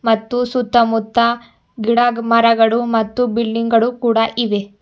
ಮತ್ತು ಸುತ್ತ ಮುತ್ತ ಗಿಡಮರಗಳು ಮತ್ತು ಬಿಲ್ಡಿಂಗ್ ಗಳು ಕೂಡ ಇವೆ.